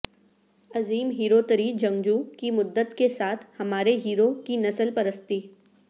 عظیم ہیروتریی جنگجو کی مدت کے ساتھ ہمارے ہیرو کی نسل پرستی